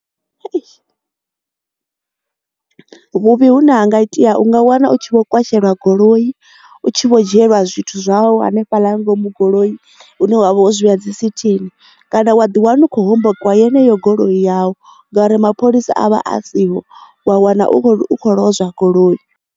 Hei vhuvhi hu ne hanga itea unga wana u tshi vho kwashelwa goloi u tshi vho dzhielwa zwithu zwau hanefha ḽa ngomu goloi hune wavha wo zwi vhea dzi sithini kana wa ḓi wana u khou hombokiwa yeneyo goloi yavho ngauri mapholisa a vha a siho wa wana u kho lwozwa goloi.